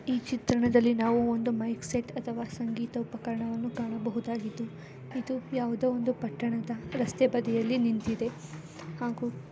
ಈ ಚಿತ್ರಣದಲ್ಲಿ ನಾವು ಒಂದು ಮೈಕ್‌ಸೆಟ್‌ ಅಥವಾ ಸಂಗೀತ ಉಪಕರಣಗಳನ್ನು ಕಾಣಬಹುದಾಗಿದ್ದು ಇದು ಯಾವುದೋ ಒಂದು ಪಟ್ಟಣದ ರಸ್ತೆ ಬದಿಯಲ್ಲಿ ನಿಂತಿದೆ ಹಾಗೂ--